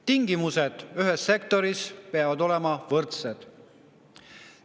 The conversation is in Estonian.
Tingimused peavad ühes sektoris olema võrdsed.